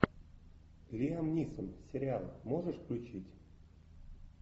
лиам нисон сериал можешь включить